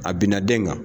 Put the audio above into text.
A bina den kan